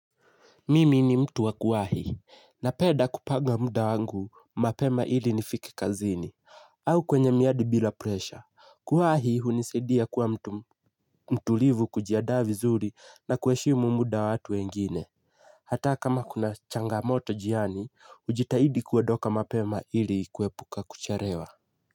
Mimi ni mtu wa kuwahi napenda kupanga muda wangu mapema ili nifike kazini au kwenye miadi bila presha kuwahi hunisaidia kuwa mtu mtulivu kujiandaa vizuri na kuheshimu muda wa watu wengine hata kama kuna changamoto njiani hujitahidi kuondoka mapema ili kuepuka kuchelewa.